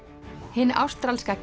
hin ástralska